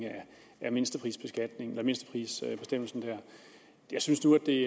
af mindsteprisbestemmelsen her jeg synes nu det